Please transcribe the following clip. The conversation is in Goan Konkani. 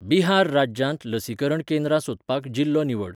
बिहार राज्यांत लसीकरण केंद्रां सोदपाक जिल्लो निवड